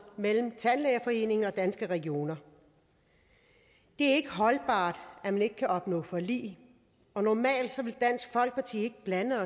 mellem tandlægeforeningen og danske regioner det er ikke holdbart at man ikke kan opnå forlig og normalt ville dansk folkeparti ikke blande